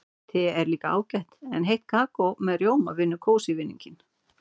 Te er líka ágætt en heitt kakó með rjóma vinnur kósí-vinninginn.